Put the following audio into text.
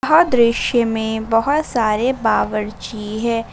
यह दृश्य में बहोत सारे बावर्ची है।